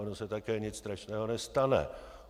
Ono se také nic strašného nestane.